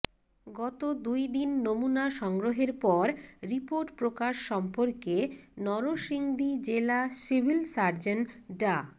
গত দুই দিন নমুনা সংগ্রহের পর রিপোর্ট প্রকাশ সম্পর্কে নরসিংদী জেলা সিভিল সার্জন ডা